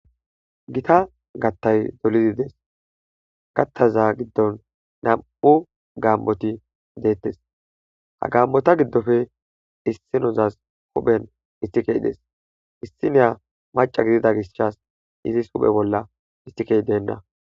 gita gattay dolidides kattaza giddon nam7u gaamoti deettes ha gammota giddofe issinozas huphen issikey des issiniya maca gidida gishshas izis huphe bolla ithikey denna